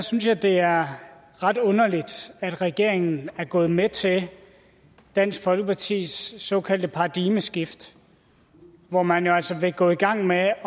synes jeg det er ret underligt at regeringen er gået med til dansk folkepartis såkaldte paradigmeskift hvor man jo altså vil gå i gang med at